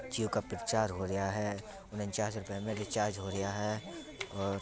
जियो का प्रचार हो रिया है उननचास रुपए में रिचार्ज हो रिया है और--